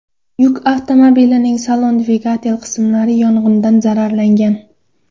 Yuk avtomobilining salon va dvigatel qismlari yong‘indan zararlangan.